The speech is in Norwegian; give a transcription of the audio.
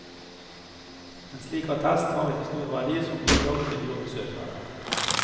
En slik attest har ikke stor verdi som bilag til jobbsøknader.